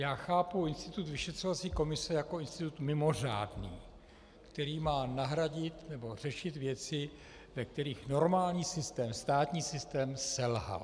Já chápu institut vyšetřovací komise jako institut mimořádný, který má nahradit nebo řešit věci, ve kterých normální systém, státní systém selhal.